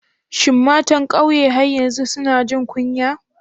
Shin matan kauye har yanzu suna jin kunya?